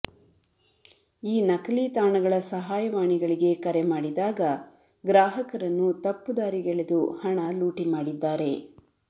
ಈ ನಕಲಿ ತಾಣಗಳ ಸಹಾಯವಾಣಿಗಳಿಗೆ ಕರೆ ಮಾಡಿದಾಗ ಗ್ರಾಹಕ ರನ್ನು ತಪ್ಪು ದಾರಿಗೆಳೆದು ಹಣ ಲೂಟಿ ಮಾಡಿದ್ದಾರೆ